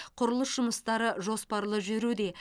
құрылыс жұмыстары жоспарлы жүруде